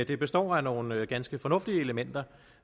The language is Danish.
det består af nogle ganske fornuftige elementer